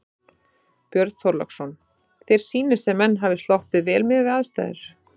Björn Þorláksson: Þér sýnist sem menn hafi sloppið vel miðað við aðstæður?